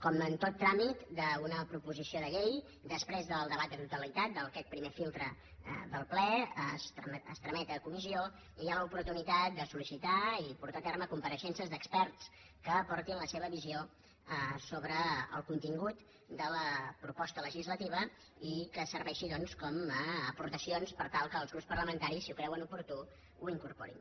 com en tot tràmit d’una proposició de llei després del debat de totalitat d’aquest primer filtre del ple es tramet a comissió i hi ha l’oportunitat de soltar a terme compareixences d’experts que aportin la seva visió sobre el contingut de la proposta legislativa i que serveixin com a aportacions per tal que els grups parlamentaris si ho creuen oportú ho incorporin